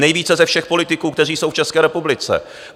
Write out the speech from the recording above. Nejvíce ze všech politiků, kteří jsou v České republice!